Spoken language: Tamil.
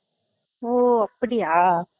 ஓ அப்படியா